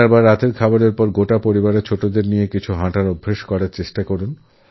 ডিনারের পর পুরো পরিবার বাচ্চাদেরসঙ্গে নিয়ে হাঁটাহাঁটি করতে যাক